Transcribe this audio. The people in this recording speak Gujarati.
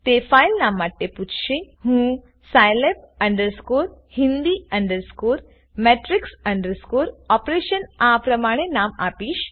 તે ફાઈલ નામ માટે પૂછશેહું scilab hindi matrix operation આ પ્રમાણે નામ આપીશ